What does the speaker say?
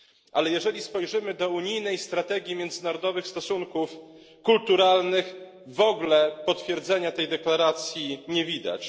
Ale jeżeli spojrzymy do strategii UE w dziedzinie międzynarodowych stosunków kulturalnych, w ogóle potwierdzenia tej deklaracji nie widać.